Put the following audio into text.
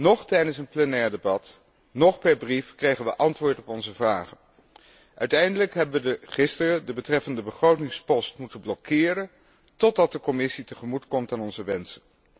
Noch tijdens een plenair debat, noch per brief kregen we antwoord op onze vragen. Uiteindelijk hebben we gisteren de betreffende begrotingspost moeten blokkeren totdat de Commissie tegemoetkomt aan onze wensen.